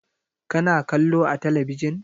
Ka na kallo a talabijin?